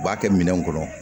U b'a kɛ minɛn kɔnɔ